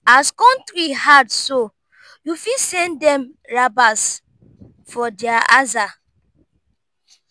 as kontry hard so yu fit send dem rabas for dia aza